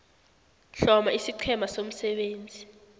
hloma isiqhema somsebenzi